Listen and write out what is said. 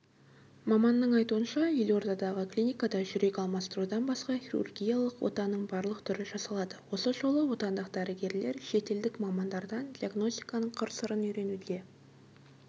маманның айтуынша елордадағы клиникада жүрек алмастырудан басқа хирургиялық отаның барлық түрі жасалады осы жолы отандық дәрігерлер шетелдік мамандардан диагностиканың қыр-сырын үйренуде